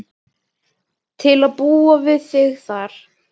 Til að búa við þig þar.